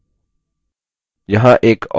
यहाँ एक और नियत कार्य है: